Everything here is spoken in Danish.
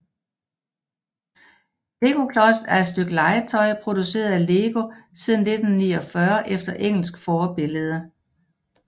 Legoklods er et stykke legetøj produceret af LEGO siden 1949 efter engelsk forbillede